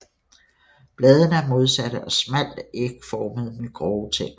Bladene er modsatte og smalt ægformede med grove tænder